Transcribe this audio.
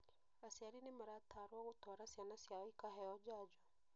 Acriari nĩmaratarwo gũtwara ciana ciao ikaheo njajo